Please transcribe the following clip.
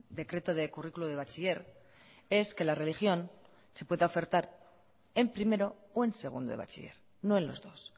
decreto de currículo de bachiller es que la religión se pueda ofertar en primero o en segundo de bachiller no en los dos